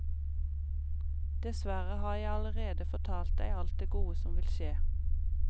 Dessverre har jeg allerede fortalt deg alt det gode som vil skje.